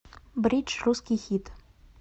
бридж русский хит